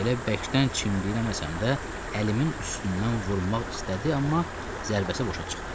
Elə bərkdən çimdiyirəməsəm də əlimin üstündən vurmaq istədi, amma zərbəsi boşa çıxdı.